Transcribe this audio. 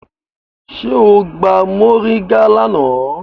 Ṣe o gba mọringá lana?